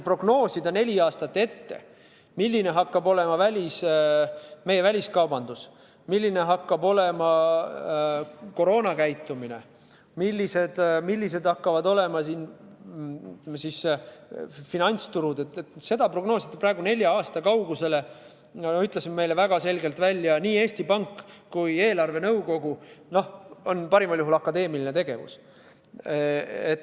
Prognoosida neli aastat ette, milline hakkab olema meie väliskaubandus, milline hakkab olema koroonakäitumine, millised hakkavad olema finantsturud – seda prognoosida praegu nelja aasta kaugusele, nagu ütlesid meile väga selgelt nii Eesti Pank kui ka eelarvenõukogu, on parimal juhul akadeemiline tegevus.